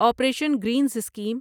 operation greens scheme